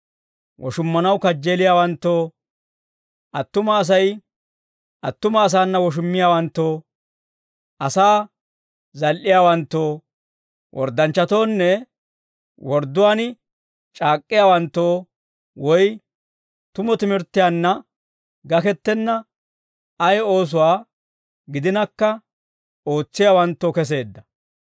woshummanaw kajjeeliyaawanttoo, attuma Asay attuma asaana woshummiyaawanttoo, asaa zal"iyaawanttoo, worddanchchatoonne wordduwaan c'aak'k'iyaawanttoo, woy tumu timirttiyaanna gakettenna ay oosuwaa gidinakka ootsiyaawanttoo keseedda.